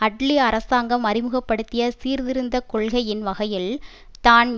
அட்லீ அரசாங்கம் அறிமுக படுத்திய சீர்திருந்த கொள்கையின் வகையில் தான்